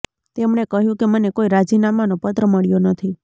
તેમણે કહ્યું કે મને કોઈ રાજીનામાનો પત્ર મળ્યો નથી